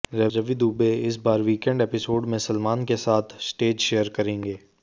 रवि दूबे इस बार weekend episode में सलमान के साथ स्टेज शेयर करेंगे